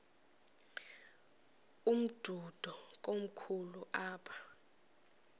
umdudo komkhulu apha